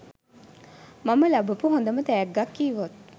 මම ලබපු හොඳම තෑග්ගක් කිව්වොත්